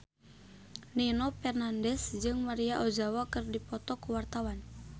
Nino Fernandez jeung Maria Ozawa keur dipoto ku wartawan